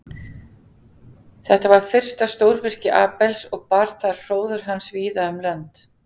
Þetta var fyrsta stórvirki Abels og bar það hróður hans víða um lönd.